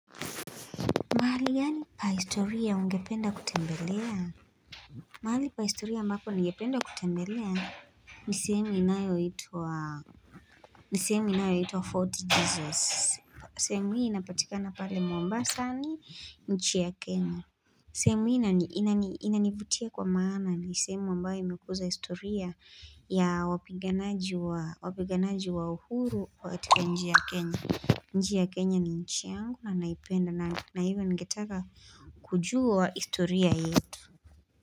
Mahali gani pa historia ungependa kutembelea? Mahali pa historia ambapo ningependa kutembelea ni sehemu inayoitwa, ni sehemu inayoitwa Fort Jesus. Sehemu hii inapatikana pale Mombasani nchi ya Kenya. Sehemu hii inanivutia kwa maana ni sehemu ambayo imekuza historia ya wapiganaji wa uhuru katika nchi ya Kenya. Nchi ya Kenya ni nchi yangu na naipenda na hivyo ningetaka kujua historia yetu.